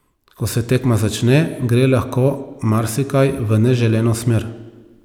Ko se tekma začne, gre lahko marsikaj v neželeno smer.